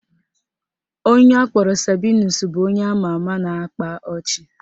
Onye akpọrọ Sabinus bụ onye ama ama na-akpa ọchị